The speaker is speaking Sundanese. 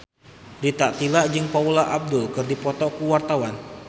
Rita Tila jeung Paula Abdul keur dipoto ku wartawan